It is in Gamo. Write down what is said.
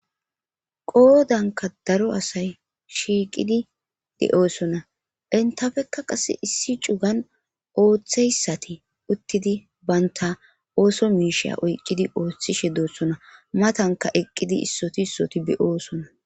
qoodanka daro asay shiiqidi de7oosona intafekka qase issi cugan ooththeyssati uttidi baynta ooso miisheya oyqqidi ooththishe doossona matanka eqqidi issoti issoti beyoosona